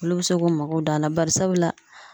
Olu be se k'u mago d'a a la barisabu la